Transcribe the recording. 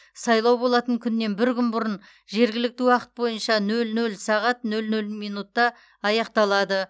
сайлау болатын күннен бір күн бұрын жергілікті уақыт бойынша нөл нөл сағат нөл нөл минутта аяқталады